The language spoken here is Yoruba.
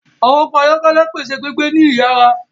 Àwọn ọkọ ayọkẹlẹ pèsè gbígbé ní iyara